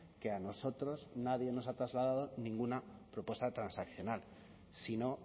que a nosotros nadie nos ha trasladado ninguna propuesta transaccional si no